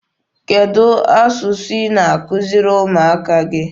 Kedụ asụsụ ị na-akuziri ụmụaka gị?